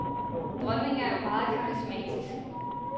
Dronningen er jo meget karismatisk.